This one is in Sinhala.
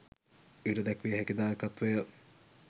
ඊට දැක්විය හැකි දායකත්වය